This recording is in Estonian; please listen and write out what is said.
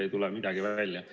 Ei tule midagi välja!